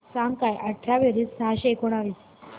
सांग काय अठरा बेरीज सहाशे एकोणीस